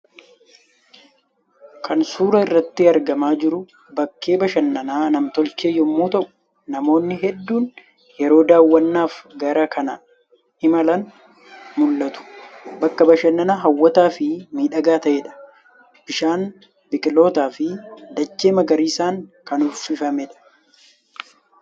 Kan suura irratti argamaa jiru bakkee bashannanaa namtolchee yommuu ta'u, namoonni hedduun yeroo daawwannaaf gara kana imalan mul'atu. Bakka bashannanaa hawwataa fi miidhagaa ta'eedha. Bishaan, biqiltoota fi dachee magariisaan kan uffifameedha.